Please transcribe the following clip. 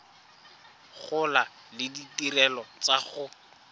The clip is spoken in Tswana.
gola le ditirelo tsa go